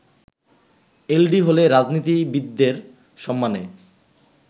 এলডি হলে রাজনীতিবিদদের সম্মানে